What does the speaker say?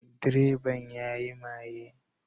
Direban ya yi maye